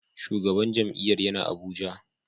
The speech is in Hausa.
Shugaban jam'iyyar yana Abuja.